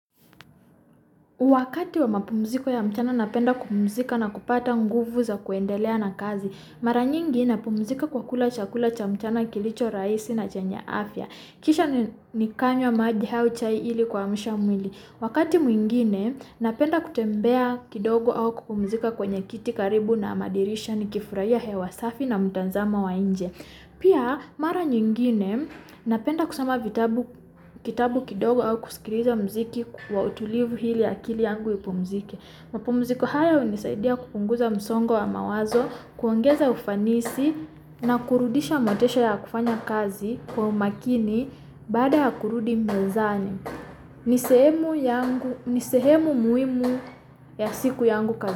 Wakati wa mapumuziko ya mchana napenda kupumzika na kupata nguvu za kuendelea na kazi, mara nyingi napumzika kwa kula chakula cha mchana kilicho rahisi na chenye afya, kisha nikanywa maji au chai ili kuamsha mwili Wakati mwingine, napenda kutembea kidogo au kupumuzika kwenye kiti karibu na madirisha nikifurahia hewa safi na mtazamo wa nje. Pia, mara nyingine, napenda kusoma vitabu kidogo au kusikiliza muziki wa utulivu ili akili yangu ipumzike mapumziko hayo husaidia kupunguza msongo wa mawazo, kuongeza ufanisi, na kurudisha motisha ya kufanya kazi kwa umakini bada ya kurudi mezani. Ni sehemu Nisehemu muhimu ya siku yangu kazini.